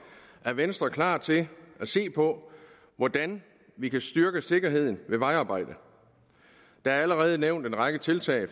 er venstre klar til at se på hvordan vi kan styrke sikkerheden ved vejarbejde der er allerede nævnt en række tiltag